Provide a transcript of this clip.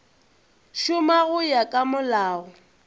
šoma go ya ka molao